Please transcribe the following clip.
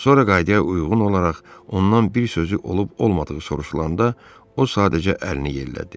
Sonra qayıdaya uyğun olaraq ondan bir sözü olub-olmadığı soruşulanda o sadəcə əlini yellədi.